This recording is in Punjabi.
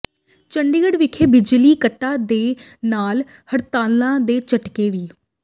ਚੰਡੀਗੜ੍ਹ ਵਿੱਚ ਬਿਜਲੀ ਕੱਟਾਂ ਦੇ ਨਾਲ ਹੜਤਾਲਾਂ ਦੇ ਝਟਕੇ ਵੀ